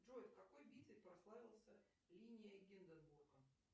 джой в какой битве прославился линия гинденбурга